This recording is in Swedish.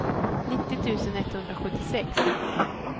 nittio tusen etthundrasjuttiosex